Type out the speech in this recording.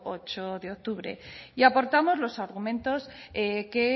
ocho de octubre y aportamos los argumentos que